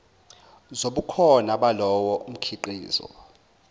zobukhona balowo mkhiqizo